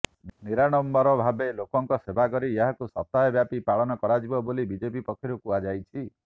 ନିରାଡମ୍ବର ଭାବେ ଲୋକଙ୍କ ସେବା କରି ଏହାକୁ ସପ୍ତାହେ ବ୍ୟାପୀ ପାଳନ କରାଯିବ ବୋଲି ବିଜେପି ପକ୍ଷରୁ କୁହାଯାଇଛି